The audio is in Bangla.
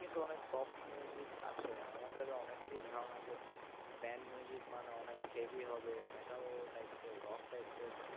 কিন্তু অনেক soft music আছে আমাদের অনেকেরই ধারণা যে band music মানে অনেক heavy হবে metal types এর rock types এর,